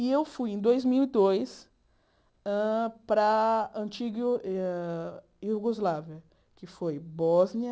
E eu fui, em dois mil e dois hã, para a antiga hã Iugoslávia, que foi Bósnia,